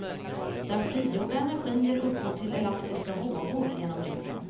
Den frigjorda energin ger upphov till elastiska vågor genom jorden.